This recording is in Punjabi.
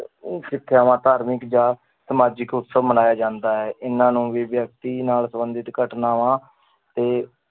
ਸਿੱਖਿਆਵਾਂ ਧਾਰਮਿਕ ਜਾਂ ਸਮਾਜਿਕ ਉਤਸਵ ਮਨਾਇਆ ਜਾਂਦਾ ਹੈ ਇਹਨਾਂ ਨੂੰ ਵੀ ਵਿਅਕਤੀ ਨਾਲ ਸੰਬੰਧਿਤ ਘਟਨਾਵਾਂ ਤੇ